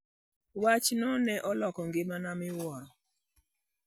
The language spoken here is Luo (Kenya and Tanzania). Wachno ne oloko ngimana miwuoro.